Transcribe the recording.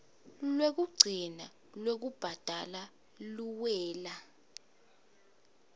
lwekugcina lwekubhadala luwela